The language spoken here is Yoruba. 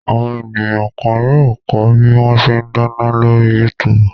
Àwọn ènìyàn kan yóò kọ́ bí wọ́n ṣe dáná lórí YouTube.